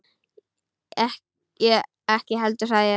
Ég ekki heldur sagði ég.